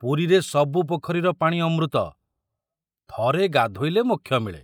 ପୁରୀରେ ସବୁ ପୋଖରୀର ପାଣି ଅମୃତ, ଥରେ ଗାଧୋଇଲେ ମୋକ୍ଷ ମିଳେ।